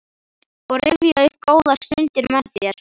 og rifja upp góðar stundir með þér.